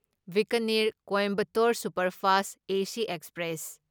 Bikaner Coimbatore superfast AC express